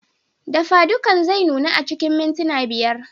Dafadukan zai nuna a cikin mintuna biyar.